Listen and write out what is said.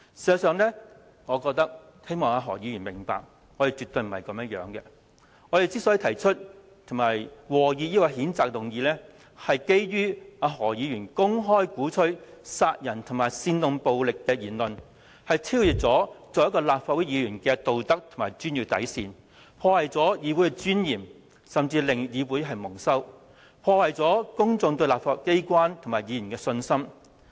事實上，我希望何議員明白，我們絕非如此，我們提出及和議譴責議案的原因，是基於何議員公開鼓吹殺人和煽動暴力的言論，已超越他作為立法會議員的道德和專業底線，破壞議會尊嚴，甚至令議會蒙羞，破壞公眾對立法機關和議員的信心。